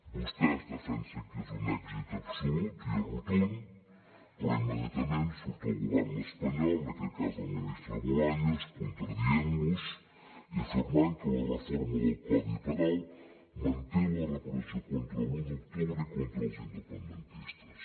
vostès defensen que és un èxit absolut i rotund però immediatament surt el govern espanyol en aquest cas del ministre bolaños contradient los i afirmant que la reforma del codi penal manté la repressió contra l’u d’octubre i contra els independentistes